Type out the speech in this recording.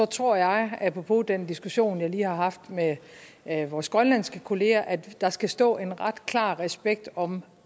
tror jeg apropos den diskussion jeg lige har haft med med vores grønlandske kolleger at der skal stå en ret klar respekt om